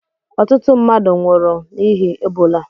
Ọtụtụ mmadụ nwụrụ n'ihi Ebola